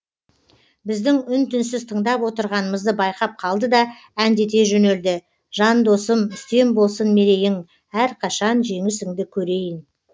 біздің үн түнсіз тыңдап отырғанымызды байқап қалды да әндете жөнелді жан досым үстем болсын мерейің әрқашан жеңісіңді көрейін